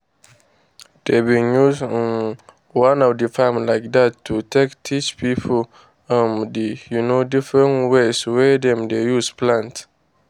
dey bin use um one farm like dat to take teach pipo um d um different ways wey dem dey use plant.